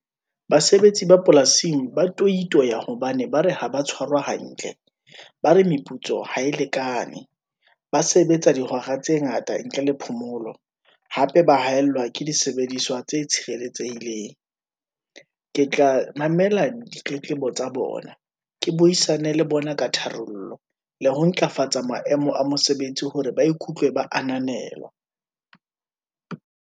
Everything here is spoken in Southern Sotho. Basebetsi ba polasing, ba toitoya hobane ba re ha ba tshwarwa hantle, ba re meputso ha e lekane, ba sebetsa dihora tse ngata ntle le phomolo, hape ba haellwa ke disebediswa tse tswang tshireletsehileng. ke tla mamela ditletlebo tsa bona, ke buisane le bona ka tharollo, le ho ntlafatsa maemo a mosebetsi hore ba ikutlwe ba ananelwa.